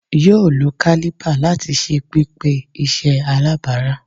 yoo lo caliper lati ṣe pipe iṣẹ alabara